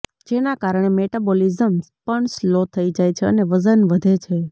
જેના કારણે મેટાબોલિઝ્મ પણ સ્લો થઈ જાય છે અને વજન વધે છે